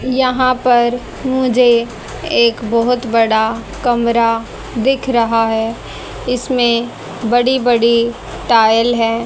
यहां पर मुझे एक बहुत बड़ा कमरा दिख रहा है इसमें बड़ी बड़ी टाइल हैं।